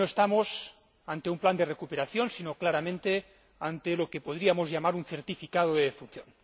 Creo que no estamos ante un plan de recuperación, sino claramente ante lo que podríamos llamar un certificado de defunción.